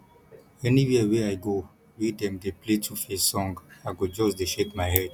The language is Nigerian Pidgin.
anywhere wey i go wey dem dey play 2face song i go just dey shake my head